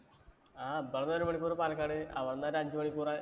ആ ഇവിടുന്നു ഒരു മണിക്കൂറ് പാലക്കാട്. അവിടൊന്നൊരു അഞ്ചു മണിക്കൂറ്